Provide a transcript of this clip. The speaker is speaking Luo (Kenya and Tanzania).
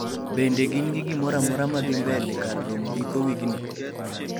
Gingi gimoramora madhii mbele kar romk giko wigni?